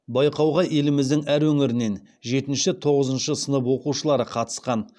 байқауға еліміздің әр өңірінен жетінші тоғызыншы сынып оқушылары қатысқан